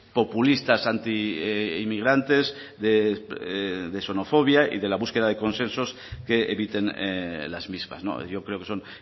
populistas antiinmigrantes de xenofobia y de la búsqueda de consensos que eviten las mismas yo creo que son